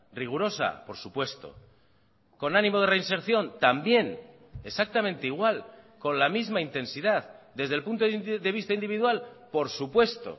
rigurosa por supuesto con ánimo de reinserción también exactamente igual con la misma intensidad desde el punto de vista individual por supuesto